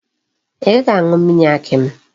I gaghi aṅu mmiri akị mụ?